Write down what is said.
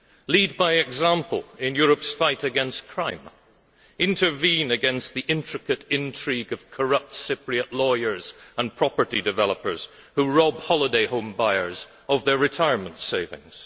Lead by example in Europe's fight against crime intervene against the intricate intrigue of corrupt Cypriot lawyers and property developers who rob holiday home buyers of their retirement savings.